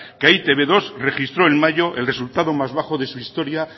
que e i te be dos registró en mayo el resultado más bajo de su historia